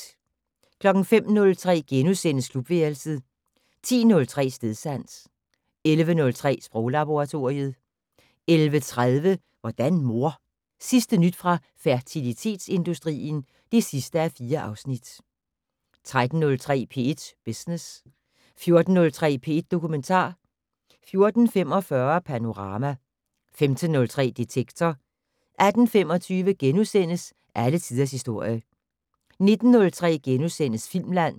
05:03: Klubværelset * 10:03: Stedsans 11:03: Sproglaboratoriet 11:30: Hvordan mor? Sidste nyt fra fertilitetsindustrien (4:4) 13:03: P1 Business 14:03: P1 Dokumentar 14:45: Panorama 15:03: Detektor 18:25: Alle tiders historie * 19:03: Filmland *